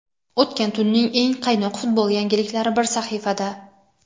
O‘tgan tunning eng qaynoq futbol yangiliklari bir sahifada:.